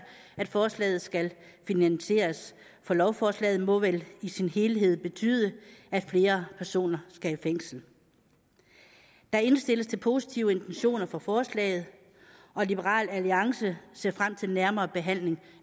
at forslaget skal finansieres for lovforslaget må vel i sin helhed betyde at flere personer skal i fængsel der indstilles til positive intentioner for forslaget og liberal alliance ser frem til en nærmere behandling